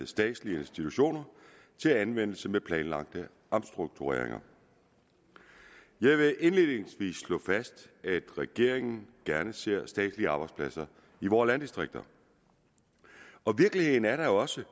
statslige institutioner til anvendelse ved planlagte omstruktureringer jeg vil indledningsvis slå fast at regeringen gerne ser statslige arbejdspladser i vore landdistrikter og virkeligheden er da også